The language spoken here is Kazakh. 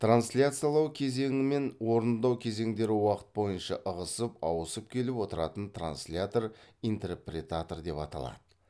трансляциялау кезеңімен орындау кезеңдері уақыт бойынша ығысып ауысып келіп отыратын транслятор интерпретатор деп аталады